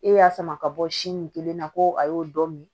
E y'a sama ka bɔ sin kelen na ko a y'o dɔ min